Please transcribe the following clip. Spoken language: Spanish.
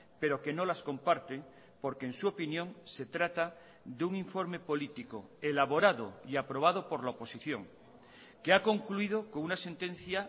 pero que no las comparte porque en su opinión se trata de un informe político elaborado y aprobado por la oposición que ha concluido con una sentencia